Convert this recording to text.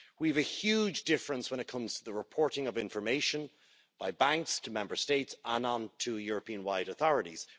We have a huge difference when it comes to the reporting of information by banks to Member States, and on to Europe wide authorities.